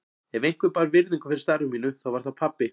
Ef einhver bar virðingu fyrir starfi mínu þá var það pabbi.